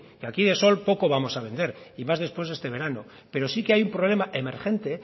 que aquí de sol poco vamos a vender y más después de este verano pero sí que hay un problema emergente